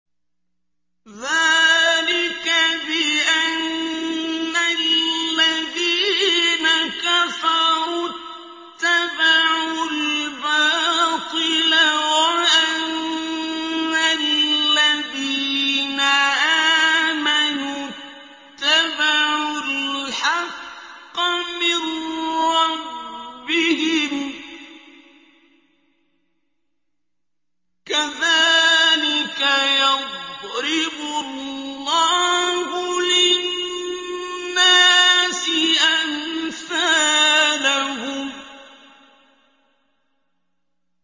ذَٰلِكَ بِأَنَّ الَّذِينَ كَفَرُوا اتَّبَعُوا الْبَاطِلَ وَأَنَّ الَّذِينَ آمَنُوا اتَّبَعُوا الْحَقَّ مِن رَّبِّهِمْ ۚ كَذَٰلِكَ يَضْرِبُ اللَّهُ لِلنَّاسِ أَمْثَالَهُمْ